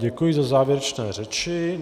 Děkuji za závěrečné řeči.